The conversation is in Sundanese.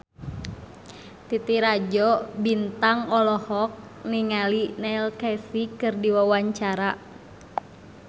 Titi Rajo Bintang olohok ningali Neil Casey keur diwawancara